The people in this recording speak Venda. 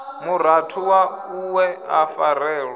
murathu waṋu we a farelwa